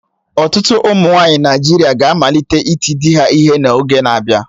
Ọtụtụ ụmụnwaanyị Naịjirịa ga-amalite iti di ha ihe n'oge na-abịa